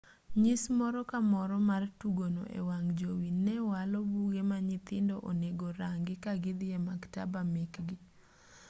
nyis moro ka moro mar tugono e wang' jowi ne walo buge ma nyithindo onego rangi ka gidhi e maktaba mekgi